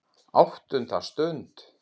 ÁTTUNDA STUND